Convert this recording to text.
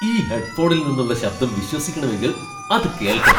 ഈ ഹെഡ്ഫോണിൽ നിന്നുള്ള ശബ്ദം വിശ്വസിക്കണമെങ്കിൽ അത് കേൾക്കണം.